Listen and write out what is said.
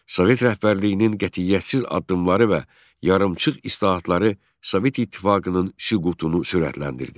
Sovet rəhbərliyinin qətiyyətsiz addımları və yarımçıq islahatları Sovet İttifaqının süqutunu sürətləndirdi.